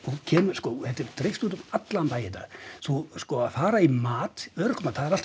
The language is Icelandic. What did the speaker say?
sko þetta er dreift út um allan bæ í dag sko að fara í örorkumat það er alltaf